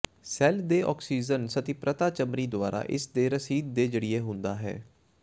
cell ਦੇ oxygen ਸੰਤ੍ਰਿਪਤਾ ਚਮੜੀ ਦੁਆਰਾ ਇਸ ਦੇ ਰਸੀਦ ਦੇ ਜ਼ਰੀਏ ਹੁੰਦਾ ਹੈ